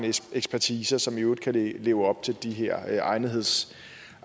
ekspertise og som i øvrigt kan leve op til de her